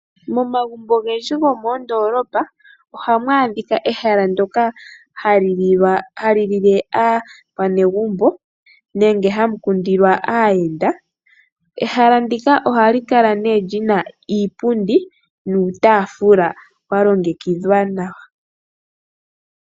Momagumbo ogendji gomoondolopa ohamu adhika ehala ndyoka hali lile aakwanegumbo nenge hamu kundilwa aayenda. Ehala ndika ohali kala lina Iipundi nuutaafula walongekidhwa nawa.